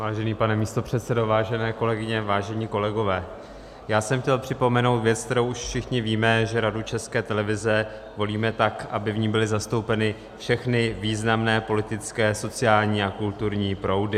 Vážený pane místopředsedo, vážené kolegyně, vážení kolegové, já jsem chtěl připomenout věc, kterou už všichni víme, že Radu České televize volíme tak, aby v ní byly zastoupeny všechny významné politické, sociální a kulturní proudy.